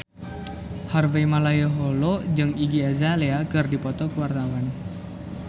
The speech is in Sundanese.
Harvey Malaiholo jeung Iggy Azalea keur dipoto ku wartawan